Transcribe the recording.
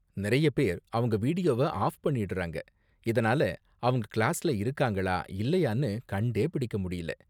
நிறைய பேர் அவங்க வீடியோவ ஆஃப் பண்ணிடுறாங்க, இதனால அவங்க கிளாஸ்ல இருக்காங்களா இல்லையான்னு கண்டே பிடிக்க முடியல.